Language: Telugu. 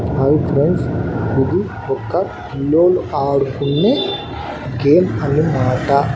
హయ్ ఫ్రెండ్స్ ఇది ఒక పిల్లోళ్ళు ఆడుకొనే గేమ్ అనమాట.